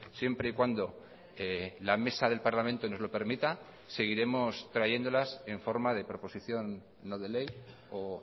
siempre y cuando la mesa del parlamento nos lo permita seguiremos trayéndolas en forma de proposición no de ley o